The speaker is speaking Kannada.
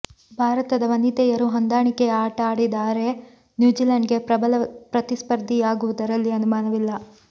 ಭಾರತದ ವನಿತೆಯರು ಹೊಂದಾಣಿಕೆಯ ಆಟ ಆಡಿದರೆ ನ್ಯೂಜಿಲೆಂಡ್ಗೆ ಪ್ರಬಲ ಪ್ರತಿಸ್ಪರ್ಧಿಯಾ ಗುವುದರಲ್ಲಿ ಅನುಮಾನವಿಲ್ಲ